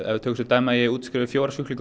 við tökum sem dæmi að ég útskrifi fjóra sjúklinga